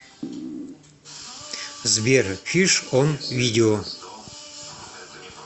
сбер фиш он видео